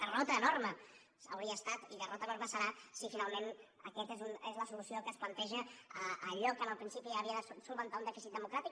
derrota enorme hauria estat i derrota enorme serà si finalment aquesta és la solució que es planteja a allò que en principi havia de solucionar un dèficit democràtic